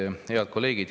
Head kolleegid!